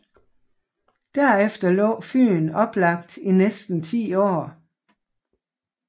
Derefter lå Fyen oplagt i næsten 10 år